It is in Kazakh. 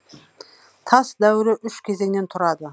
тас дәуірі үш кезеңнен тұрады